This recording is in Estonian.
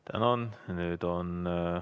Tänan!